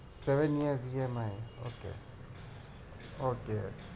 seven years EMI ok ok